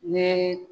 Ne ye